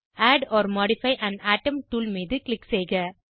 add or modify an atom tool மீது click செய்க